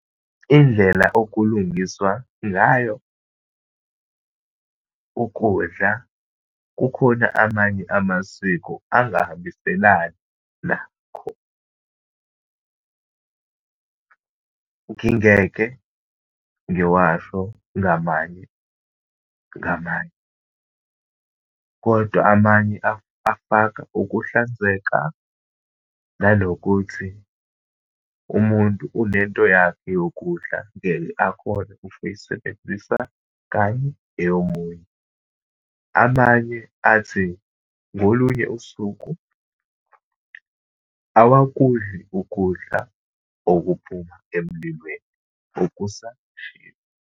Indlela okulungiswa ngayo ukudla, kukhona amanye amasiko angihambiselani nakho. Ngingeke ngiwasho ngamanye ngamanye, kodwa amanye afaka ukuhlanzeka, nanokuthi umuntu unento yakhe yokudla, ngeke akhone ukuyisebenzisa kanye eyomunye. Amanye athi, ngolunye usuku awakudli ukudla okuphuma emlilweni okusashisa.